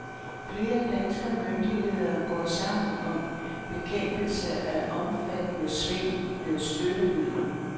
Flere danske myndigheder går sammen om bekæmpelse af omfattende svindel med støttemidler.